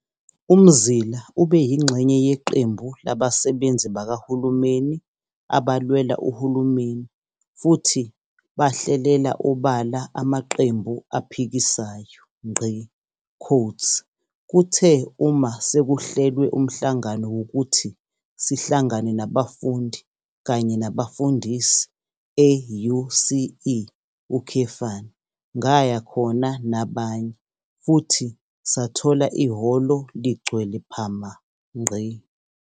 UMzila ube yingxenye yeqembu labasebenzi bakahulumeni abalwela uhulumeni futhi bahlelela obala amaqembu aphikisayo. "Kuthe uma sekuhlelwe umhlangano wokuthi sihlangane nabafundi kanye nabafundisi e-UCE, ngaya khona nabanye futhi sathola ihholo ligcwele phama.